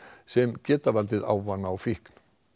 sem geta valdið ávana og fíkn